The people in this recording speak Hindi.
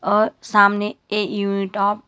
और सामने ए यूनिट ऑफ --